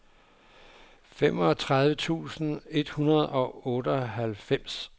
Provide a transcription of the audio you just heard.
femogtredive tusind et hundrede og otteoghalvfems